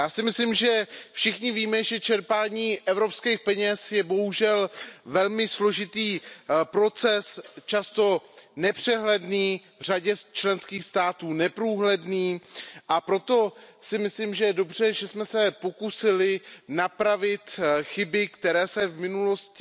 Já si myslím, že všichni víme, že čerpání evropských peněz je bohužel velmi složitý proces, často nepřehledný, v řadě členských států neprůhledný, a proto si myslím, že je dobře, že jsme se pokusili napravit chyby, které se v minulosti